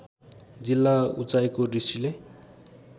जिल्ला उचाइको दृष्टिले